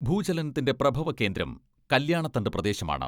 ഭൂചലനത്തിന്റെ പ്രഭവകേന്ദ്രം കല്യാണത്തണ്ട് പ്രദേശമാണ്.